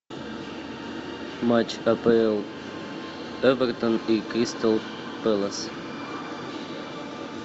матч апл эвертон и кристал пэлас